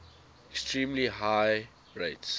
extremely high rates